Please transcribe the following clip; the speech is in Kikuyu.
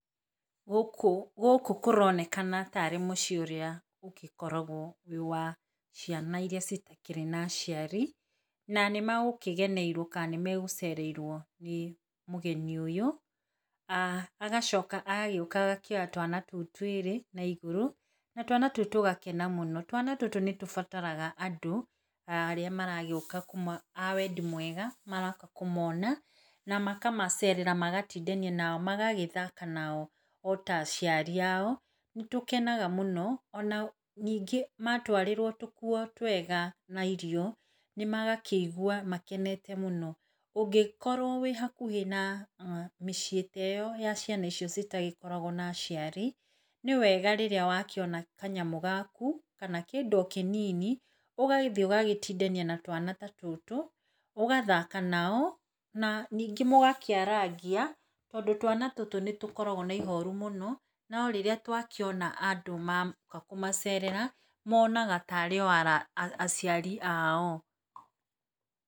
Gũkũ kũronekana tarĩ mũciĩ ũrĩa ũgĩkoragwo wĩ wa ciana iria citakĩrĩ na aciari, na nĩ magũkĩgeneirwo, kana nĩ magũcereirwo nĩ mũgeni ũyũ. Na agacoka agagĩuka agakĩoya twana tũu twĩrĩ na igũrũ, na twana tũu tũgakena mũno. Twana tũtũ nĩ tũbataraga andũ arĩa maragĩuka a wendi mwega maroka kũmona, na makamacerera magatindania, na magagĩthaka nao o ta aciari ao. Nĩ tũkenaga mũno, ona ningĩ matwarĩrwo tũkuo twega na irio nĩ magakĩigua makenete mũno. Ũngĩkorwo wĩ hakuhĩ na mĩciĩ ta ĩyo ya ciana icio citagĩkoragwo na aciari, nĩ wega rĩrĩa wakĩona kanyamũ gaku, kana kĩndũ o kĩnini, ũgagĩthiĩ ũgatindania na twana ta tũtũ, ũgathaka nao, na ningĩ mũgakĩarangia , tondũ twana tũtũ nĩ tũkoragwo na ihoru mũno, no rĩrĩa twakĩona andũ moka kũmacerera monaga tarĩ o aciari ao. Gũkũ, gũkũ kũronekana tarĩ mũciĩ ũrĩa ũgĩkoragwo wĩ wa ciana iria citakĩrĩ na aciari, na nĩ magũkĩgeneirwo, ka nĩ magũcereirwo nĩ mũgeni ũyũ. Agacoka agagĩuka agakĩoya twana tũu twĩrĩ na igũrũ, na twana tũu tũgakena mũno. Twana tũtũ nĩ tũbataraga andũ, arĩa maragĩuka a wendi mwega maroka kũmona, na makamacerera magatindania, na magagĩthaka nao o ta aciari ao. Nĩ tũkenaga mũno, ona ningĩ matwarĩrwo tũkuo twega na irio nĩ magakĩigua makenete mũno. Ũngĩkorwo wĩ hakuhĩ na mĩciĩ ta ĩyo ya ciana icio citagĩkoragwo na aciari, nĩ wega rĩrĩa wakĩona kanyamũ gaku, kana kĩndũ o kĩnini, ũgagĩthiĩ ũgatindania na twana ta tũtũ, ũgathaka nao, na ningĩ mũgakĩarangia , tondũ twana tũtũ nĩ tũkoragwo na ihoru mũno, no rĩrĩa twakĩona andũ moka kũmacerera monaga tarĩ o aciari ao.